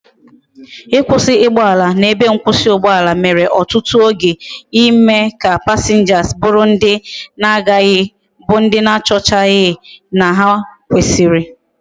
ikwusi ugboala na ebe mkwusi ugboala mere otutu oge ime ka passengers buru ndi na agaghi bu ndi na achochaghi na ha kwesiri